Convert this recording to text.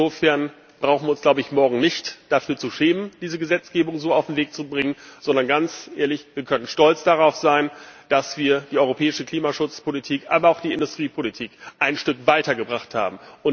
Insofern brauchen wir uns, glaube ich, morgen nicht dafür zu schämen, diese Gesetzgebung so auf den Weg zu bringen, sondern, ganz ehrlich, wir können stolz darauf sein, dass wir die europäische Klimaschutzpolitik, aber auch die Industriepolitik ein Stück weitergebracht haben.